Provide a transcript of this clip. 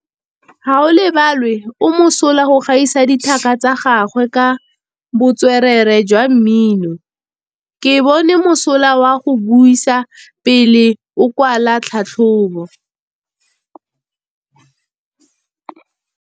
Gaolebalwe o mosola go gaisa dithaka tsa gagwe ka botswerere jwa mmino. Ke bone mosola wa go buisa pele o kwala tlhatlhobô.